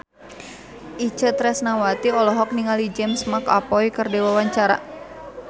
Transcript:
Itje Tresnawati olohok ningali James McAvoy keur diwawancara